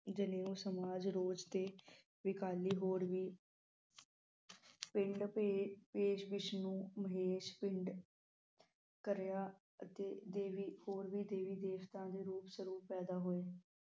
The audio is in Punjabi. ਜਾਨੇਯੂ ਸਮਾਜ ਰੋਜ ਤੇ ਵਿਕਾਲੀ ਹੋਰ ਵੀ ਪੇਸ਼ ਵਿਸ਼ਨੂੰ ਪਿੰਡ ਕਰਿਆ ਅਤੇ ਦੇਵੀ ਹੋਰ ਵੀ ਦੇਵੀ ਦੇਵਤਾ ਦੇ ਰੂਪ ਸਰੂਪ ਪੈਦਾ ਹੋਏ